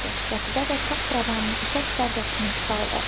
Qətibə də taxravanın ipək pərdəsini saldı.